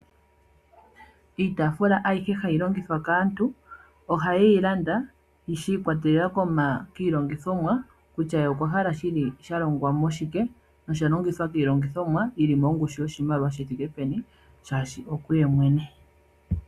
Iitafula ayihe hayi longithwa kaantu oha ye yi landa shi ikwatelela kiilongithomwa, kutya ye okwa hala shini sha longwa mo shike no oshalongwa miilongithomwa yi li mongushu yiimaliwa thike peni shashi okuye mwene.